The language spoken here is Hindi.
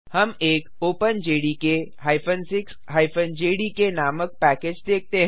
हम एक openjdk 6 जेडीके नामक पैकेज देखते हैं